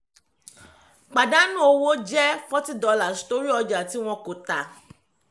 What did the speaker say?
pàdánù owó jẹ́ forty dollars torí ọjà tí wọ́n kọ tà.